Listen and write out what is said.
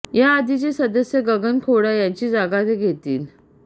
याआधीचे सदस्य गगन खोडा यांची जागा ते घेतील